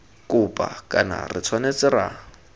kopa kana re tshwanetse ra